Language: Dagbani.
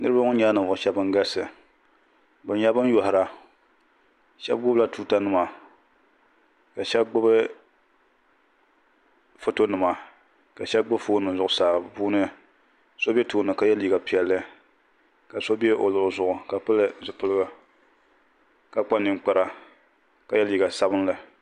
Niriba ŋɔ nyɛla ninvuɣu shɛba ban galisi bi nyɛla bani yoihira shɛba gbubi la tuuta nima ka shɛba gbubi foto nima ka shɛba gbubi foon nima bi puuni so bɛ tooni ka ye liiga piɛlli ka ao bɛ o luɣili zuɣu ka pili zipiliga ka kpa ninkpara ka ye liiga sabinli.